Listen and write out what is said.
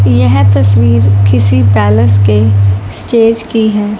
यह तस्वीर किसी पैलेस के स्टेज की है।